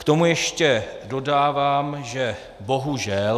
K tomu ještě dodávám, že bohužel.